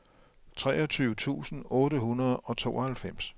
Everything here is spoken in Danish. treogtyve tusind otte hundrede og tooghalvfems